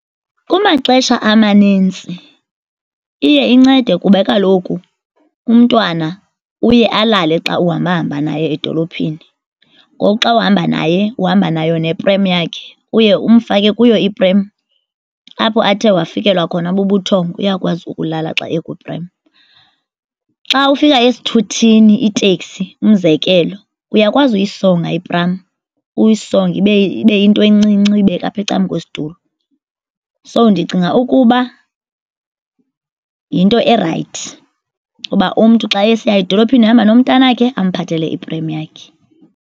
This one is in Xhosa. Kumaxesha amanintsi iye incede kuba kaloku umntwana uye alale xa uhamba-hamba naye edolophini. Ngoku xa uhamba naye uhamba nayo neprem yakhe uye umfake kuyo iprem apho athe wafikelwa khona bubuthongo uyakwazi ukulala xa ekwiprem. Xa ufika esithuthini iteksi, umzekelo, uyakwazi uyisonga ipramu uyisonge ibe yinto encinci uyibeke apha ecaleni kwesitulo. So, ndicinga ukuba yinto erayithi uba umntu xa esiya edolophini ehamba nomntana wakhe amphathele iprem yakhe.